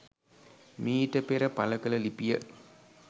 මීට පෙර පළකල ලිපිය